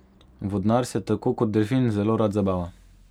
Vodnar se tako kot delfin zelo rad zabava.